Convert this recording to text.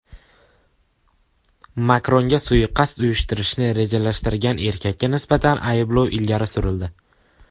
Makronga suiqasd uyushtirishni rejalashtirgan erkakka nisbatan ayblov ilgari surildi.